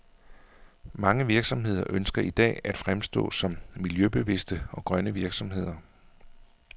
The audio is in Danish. Mange virksomheder ønsker i dag at fremstå som miljøbevidste og grønne virksomheder.